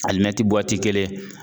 Alimɛti kelen